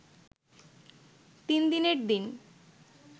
তিনদিনের দিন